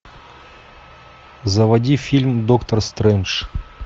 заводи фильм доктор стрэндж